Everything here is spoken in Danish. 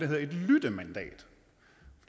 hedder et lyttemandat